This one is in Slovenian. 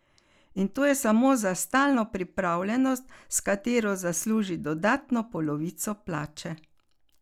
In to je samo za stalno pripravljenost, s katero zasluži dodatno polovico plače.